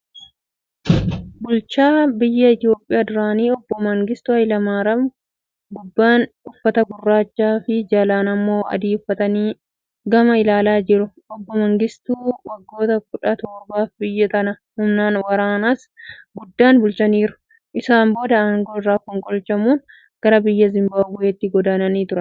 Bulchaa biyya Itiyoophiyaa duraanii obbo Mangistuu Hayilamaariyaam, gubbaan uffata gurraachaa fi jalaan immoo adii uffatanii gama ilaalaa jiru. Obbo Mangistuun waggoota kudha torbaaf biyya tana humna waraanaas guddaan bulchaniiru. Isaan booda aangoo irraa fonqolchamuun gara biyya zimbaabuweetti godaananii turan.